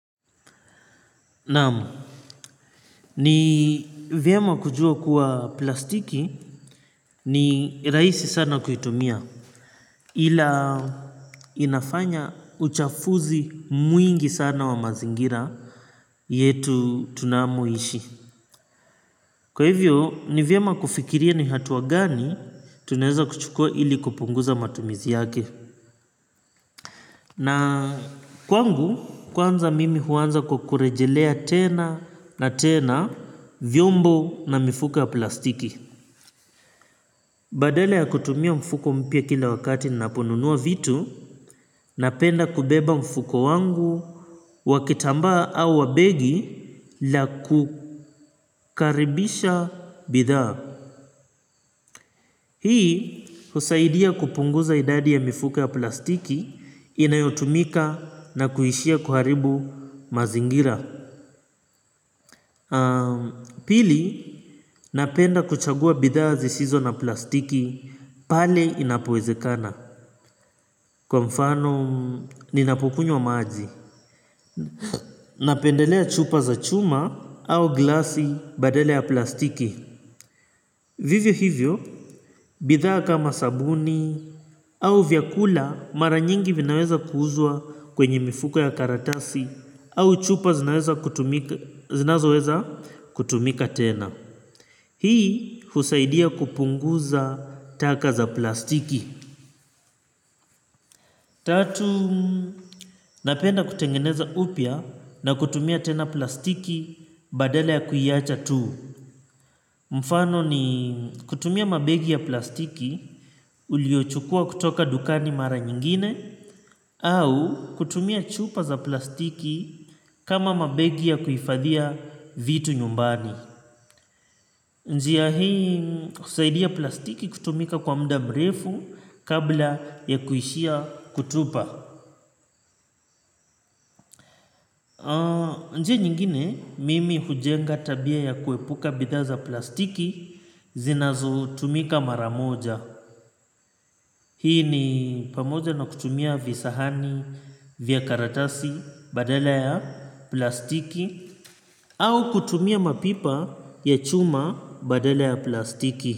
Naamu, ni vyema kujua kuwa plastiki ni raisi sana kuitumia ila inafanya uchafuzi mwingi sana wa mazingira yetu tunamoishi. Kwa hivyo, ni vyema kufikiria ni hatuwa gani tuneza kuchukua ili kupunguza matumizi yake. Na kwangu, kwanza mimi huanza kukurejelea tena na tena vyombo na mifuko ya plastiki. Badala ya kutumia mfuko mpia kila wakati naponunua vitu, napenda kubeba mfuko wangu wakitamba au wabegi la kukaribisha bidhaa. Hii husaidia kupunguza idadi ya mfuko ya plastiki inayotumika na kuhishia kuharibu mazingira. Pili, napenda kuchagua bidhaa zisizo na plastiki pale inapowezekana. Kwa mfano ninapukunywa maaji napendelea chupa za chuma au glasi badala ya plastiki. Vivyo hivyo, bidhaa kama sabuni au vyakula mara nyingi vinaweza kuhuzua kwenye mifuko ya karatasi au chupa zinazoweza kutumika tena. Hii husaidia kupunguza taka za plastiki. Tatu, napenda kutengeneza upia na kutumia tena plastiki badala ya kuiacha tu. Mfano ni kutumia mabegi ya plastiki uliochukua kutoka dukani mara nyingine au kutumia chupa za plastiki kama mabegi ya kuifadhiya vitu nyumbani. Njiya hii husaidia plastiki kutumika kwa mda mrefu kabla ya kuhishia kutupa. Njia nyingine mimi hujenga tabia ya kuepuka bidha za plastiki zinazo tumika maramoja. Hii ni pamoja na kutumia visahani vya karatasi badala ya plastiki au kutumia mapipa ya chuma badala ya plastiki.